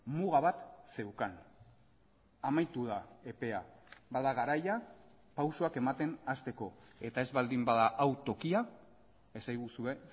muga bat zeukan amaitu da epea bada garaia pausuak ematen hasteko eta ez baldin bada hau tokia esaguzue